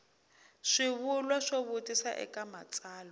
swivulwa swo vutisa eka matsalwa